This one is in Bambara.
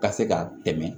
Ka se ka dɛmɛ